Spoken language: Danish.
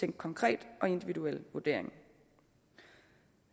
en konkret og individuel vurdering